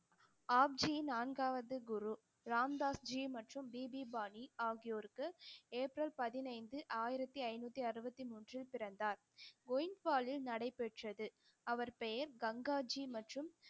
ஆப்ஜி நான்காவது குரு ராம்தாஸ்ஜி மற்றும் பிபி பாணி ஆகியோருக்கு ஏப்ரல் பதினைந்து ஆயிரத்தி ஐந்நூத்தி அறுபத்தி மூன்றில் பிறந்தார் நடைபெற்றது அவர் பெயர் கங்காஜி மற்றும்